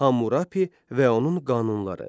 Hammurapi və onun qanunları.